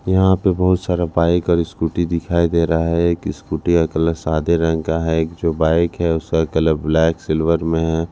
यहां पे बहुत सारा बाइक और स्कूटी दिखाई दे रहा है एक स्कूटी का कलर सादे रंग का है एक जो बाइक है उसका कलर ब्लैक सिल्वर में है।